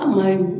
A ma ɲi